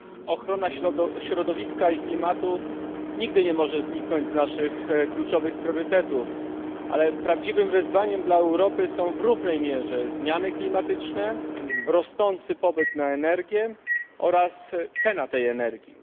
Ochrona środowiska i klimatu nigdy nie może zniknąć z naszych kluczowych priorytetów, ale prawdziwym wyzwaniem dla Europy są w równej mierze zmiany klimatyczne, rosnący popyt na energię oraz cena tej energii.